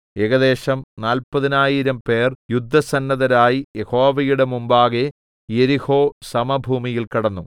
ഏകദേശം നാല്പതിനായിരംപേർ യുദ്ധസന്നദ്ധരായി യഹോവയുടെ മുമ്പാകെ യെരിഹോസമഭൂമിയിൽ കടന്നു